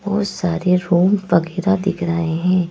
बहुत सारे रूम वगैरह दिख रहे हैं।